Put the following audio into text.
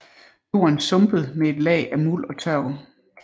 Jorden sumpet med et lag af muld og tørv